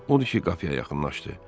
Odur ki, qapıya yaxınlaşdı.